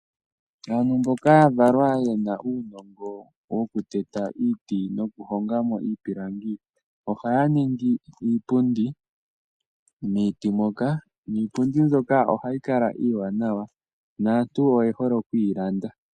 Aantu mboka ya valwa yena uunongo woku teta omiti noku honga mo iipilangi, ohaya ningi iipundi miiti moka, niipundi mbyoka ohayi kala iiwanawa, naantu oye hole okuyi landa.